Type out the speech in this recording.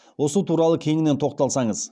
осы туралы кеңінен тоқталсаңыз